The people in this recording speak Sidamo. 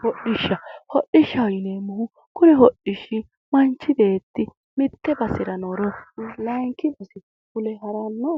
Hodhishsha hodhishshaho yineemmohu kuni hodhishshi manchi beetti basera nooro layeenki base fule haranno